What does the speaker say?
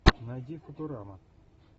найди футурама